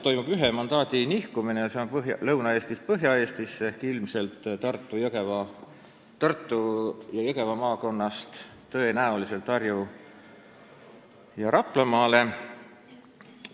Tõenäoliselt üks mandaat nihkub Lõuna-Eestist Põhja-Eestisse, ilmselt Tartu ja Jõgeva maakonna ühisest valimisringkonnast Harju- ja Raplamaale.